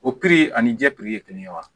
O ani jɛ ye kelen ye wa